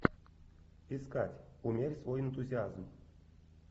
искать умерь свой энтузиазм